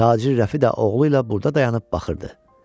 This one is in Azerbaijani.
Tacir Rəfi də oğluyla burda dayanıb baxırdı.